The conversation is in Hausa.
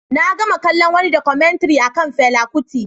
Na gama kallon wani Documentary akan Fela Kuti